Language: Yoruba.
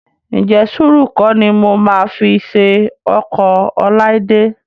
Ǹjẹ́ sùúrù kọ́ ni mo máa fi ṣe ọkọ Ọláídé?